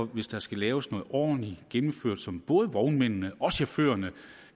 hvis der skal laves noget ordentligt og gennemført som både vognmændene og chaufførerne